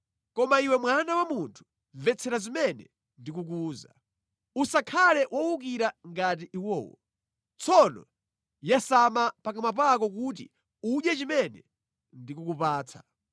Koma iwe mwana wa munthu, mvetsera zimene ndikukuwuza. Usakhale wowukira ngati iwowo. Tsono yasama pakamwa pako kuti udye chimene ndikukupatsa.”